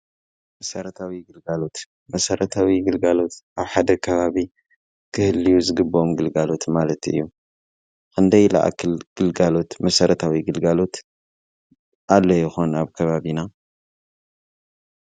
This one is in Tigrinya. መሰረታዊ ግልጋሎት፡ መሰረታዊ ግልጋሎት ኣብ ሓደ ካባቢ ክህልዩ ዝግቦኦም ግልጋሎት ማለት እዩ፡፡ ኸንደይ ልኣክል ግልጋሎት፣ መሰረታዊ ግልጋሎት ኣሎ ይኾን ኣብ ከባቢና?